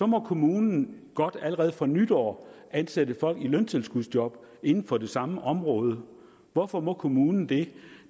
må kommunen godt allerede fra nytår ansætte folk i løntilskudsjob inden for det samme område hvorfor må kommunen det